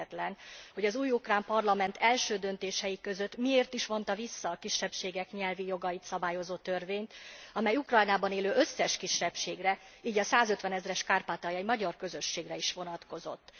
Érthetetlen, hogy az új ukrán parlament első döntései között miért is vonta vissza a kisebbségek nyelvi jogait szabályozó törvényt, amely az Ukrajnában élő összes kisebbségre, így a százötvenezres kárpátaljai magyar közösségre is vonatkozott.